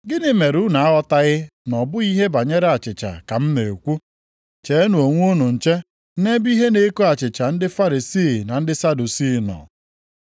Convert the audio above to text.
Gịnị mere unu aghọtaghị na ọ bụghị ihe banyere achịcha ka m na-ekwu? Cheenụ onwe unu nche nʼebe ihe na-eko achịcha ndị Farisii na ndị Sadusii nọ.”